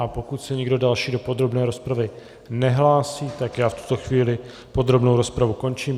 A pokud se nikdo další do podrobné rozpravy nehlásí, tak já v tuto chvíli podrobnou rozpravu končím.